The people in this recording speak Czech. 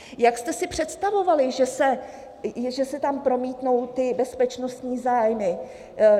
Jak jste si představovali, že se tam promítnou ty bezpečnostní zájmy?